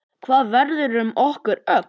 Hvað verður um okkur öll?